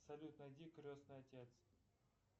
салют найди крестный отец